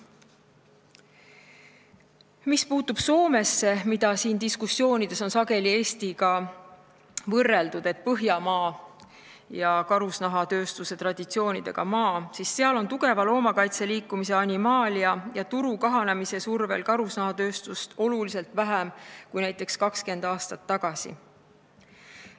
Mis puutub Soomesse, mida siin peetud diskussioonides on sageli Eestiga võrreldud, sest see on Põhjamaa ja karusnahatööstuse traditsioonidega maa, siis seal on tugeva loomakaitseliikumise Animalia ja turu kahanemise survel karusnahatööstust oluliselt vähem kui näiteks 20 aastat tagasi.